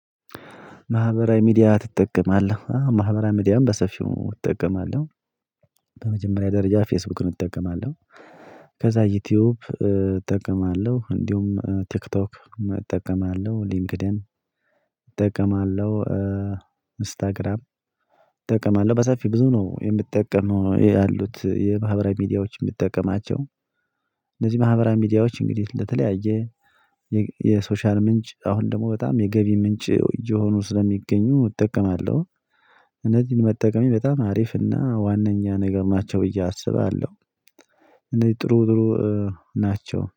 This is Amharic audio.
ማህበራዊ ሚዲያ ትጠቀማለህ ማህበራዊ ሚዲያም በሰፊው እጠቀማለሁ። በመጀመሪያ ደረጃ ፌስቡክ እጠቀማለሁ። ከዛ ዩቲዩብ እጠቀማለሁ እንዲሁም ቲክቶክ እጠቀማለሁ ሊንክድን እጠቀማለሁ ኢንስታግራም እጠቀማለሁ በሰፊ ብዙ ነው የምጠቀመው ያሉት የማህበራዊ ሚዲያዎች የምጠቀማቸው። እነዚህ ማህበራዊ ሚዲያዎች እንግዲህ ለተለያየ የሶሻል ምንጭ አሁን ደግሞ በጣም የገቢ ምንጭ እየሆኑ ስለሚገኙ እጠቀማለሁ። እነዚህን መጠቀም በጣም አሪፍና ዋነኛ ነገር ናቸው ብዬ አስባለሁ። እኔ ጥሩ ጥሩ ናቸው